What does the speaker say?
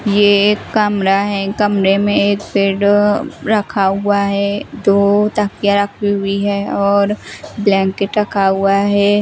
ये एक कमरा है कमरे में एक बेड रखा हुआ है दो तकिया रखी हुई है और ब्लैंकेट रखा हुआ है।